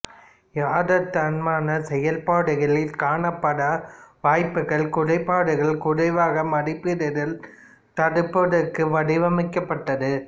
யதார்த்தமான செயல்பாடுகளில் காணப்பட வாய்ப்புள்ள குறைபாடுகளை குறைவாக மதிப்பிடுதலைத் தடுப்பதற்காக வடிவமைக்கப்பட்டது